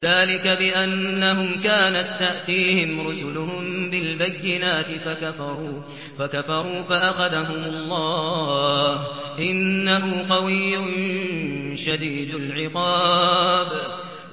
ذَٰلِكَ بِأَنَّهُمْ كَانَت تَّأْتِيهِمْ رُسُلُهُم بِالْبَيِّنَاتِ فَكَفَرُوا فَأَخَذَهُمُ اللَّهُ ۚ إِنَّهُ قَوِيٌّ شَدِيدُ الْعِقَابِ